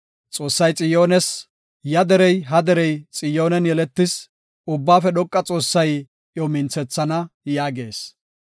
Xoossay Xiyoones, “Ya derey ha derey Xiyoonen yeletis; Ubbaafe Dhoqa Xoossay iyo minthana” yaagees.